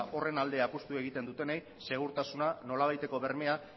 horren alde apustu egiten dutenei segurtasuna nolabaiteko bermea